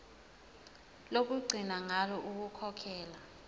lokugcina ngalo ukukhokhela